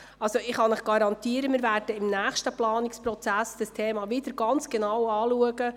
Ich kann Ihnen garantieren, dass wir im nächsten Planungsprozess das Thema wieder ganz genau anschauen werden.